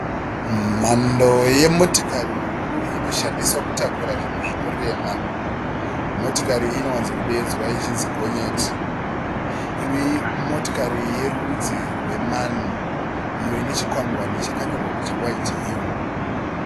Mhando yemotikari huru inoshandiswa kutakura zvinhu zvinorema. Motikari iyi inowanzo kudedzwa ichinzi gonyeti. Imotikari yerudzi rwe"MAN", iyo ine chikwangwani chakanyorwa kuti, "WHITEHILL".